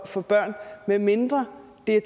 for børn medmindre det